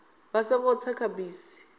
vha songo tsa kha bisi